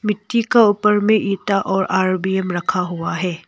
मिट्टी का ऊपर में इंटा और रखा हुआ है।